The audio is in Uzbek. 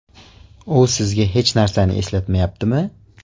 U sizga hech narsani eslatmayaptimi?